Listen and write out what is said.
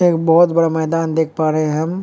एक बड़ा बोहोत मैदान देख पा रहे हम।